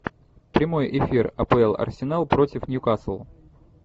прямой эфир апл арсенал против ньюкасл